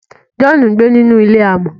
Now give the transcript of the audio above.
John ngbé nínú ilé amò